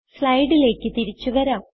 സ്ലൈഡിലേക്ക് തിരിച്ചു വരാം